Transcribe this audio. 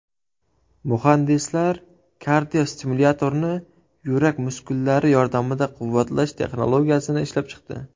Muhandislar kardiostimulyatorni yurak muskullari yordamida quvvatlash texnologiyasini ishlab chiqdi.